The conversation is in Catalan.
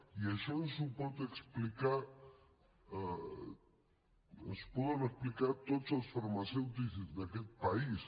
i això ens ho poden explicar tots els farmacèutics d’aquest país